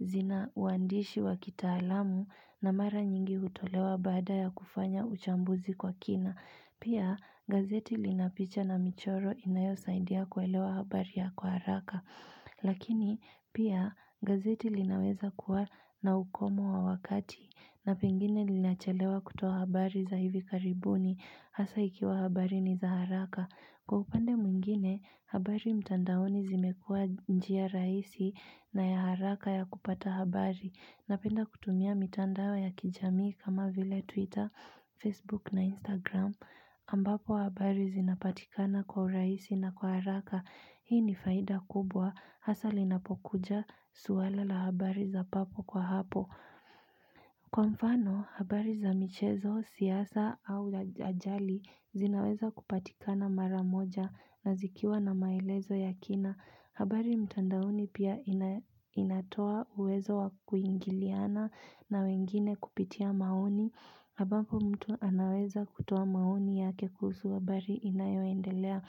zina uandishi wa kitaalamu na mara nyingi hutolewa baada ya kufanya uchambuzi kwa kina. Pia, gazeti lina picha na michoro inayosaidia kuelewa habari ya kwa haraka. Lakini pia, gazeti linaweza kuwa na ukomo wa wakati na pengine linachalewa kutoa habari za hivi karibuni hasa ikiwa habari ni za haraka. Kwa upande mwingine, habari mtandaoni zimekuwa njia rahisi na ya haraka ya kupata habari. Napenda kutumia mitandao ya kijamii. Kama vile Twitter, Facebook na Instagram. Ambapo habari zinapatikana kwa raisi na kwa haraka. Hii ni faida kubwa. Hasa linapokuja, suala la habari za papo kwa hapo. Kwa mfano, habari za michezo, siasa au aja, ajali zinaweza kupatikana mara moja na zikiwa na maelezo ya kina. Habari mtandaoni pia, ina inatoa uwezo wa kuingiliana na wengine kupitia maoni. Ambapo mtu anaweza kutoa maoni yake kuhusu habari inayoendelea.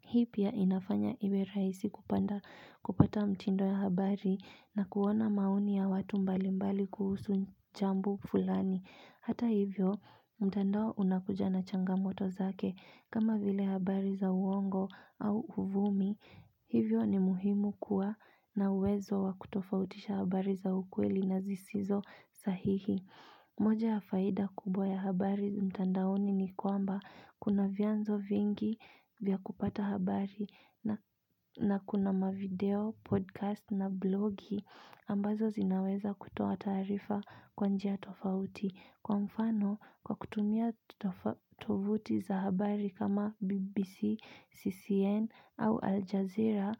Hii pia, inafanya iwe rahisi kupanda, kupata mtindo ya habari na kuona maoni ya watu mbalimbali kuhusu jambo fulani. Hata hivyo mtandao unakuja na changamoto zake, kama vile habari za uongo au uvumi Hivyo, ni muhimu kuwa na uwezo wa kutofautisha habari za ukweli na zisizo sahihi moja ya faida kubwa ya habari mtandaoni ni kwamba, kuna vyanzo vingi vya kupata habari na, na kuna mavideo, podcast na blogi ambazo zinaweza kutoa taarifa kwa njia tofauti. Kwa mfano, kwa kutumia tofa tovuti za habari kama BBC, CCN au Al Jazeera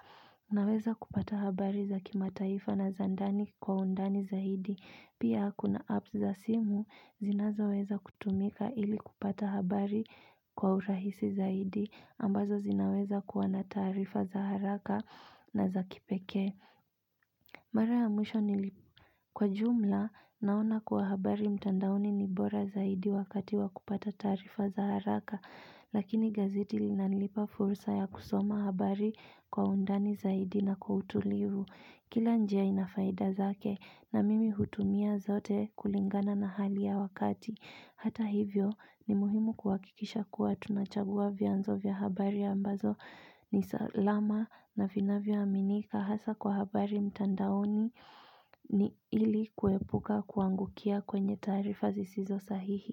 naweza kupata habari za kimataifa na zandani kwa undani zaidi. Pia kuna Apps za simu zinazoweza kutumika ili kupata habari kwa urahisi zaidi ambazo zinaweza kuwa na taarifa za haraka na za kipekee Mara ya mwisho nili, kwa jumla naona kuwa habari mtandaoni ni bora zaidi wakati wa kupata taarifa za haraka, lakini gazeti linanipa furusa ya kusoma habari kwa undani zaidi na kwa utulivu. Kila njia inafaida zake na mimi hutumia zote kulingana na hali ya wakati. Hata hivyo ni muhimu kuhakikisha kuwa tunachangua vyanzo vya habari ambazo ni salama na vinavyoaminika hasa kwa habari mtandaoni ni ili kuepuka kuagukia kwenye taarifa zisizosahihi.